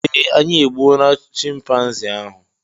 eeh, anyị egbuo na chịmpaizịn ahụ